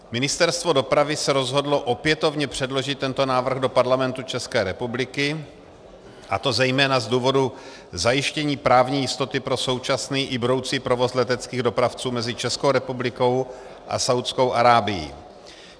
Ministerstvo dopravy se rozhodlo opětovně předložit tento návrh do Parlamentu České republiky, a to zejména z důvodu zajištění právní jistoty pro současný i budoucí provoz leteckých dopravců mezi Českou republikou a Saúdskou Arábií.